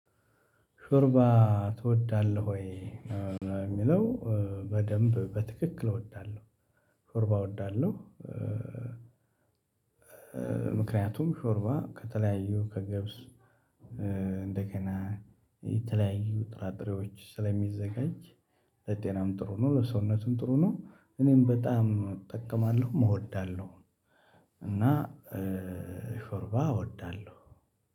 "ሾርባ ትወዳለሁ ወይ?" ነው የሚለው። በደንብ በትክክል እወዳለሁ ሾርባ እወዳለሁ። ምክንያቱም ሾርባ ከተለያዩ ከገብስ እንደገና የተለያዩ ጥራጥሬዎች ስለሚዘጋጅ ለጤናም ጥሩ ነው፣ ለሰውነቱም ጥሩ ነው። እኔም በጣም እጠቀማለሁም እወዳለሁ እና ሾርባ እወዳለሁ።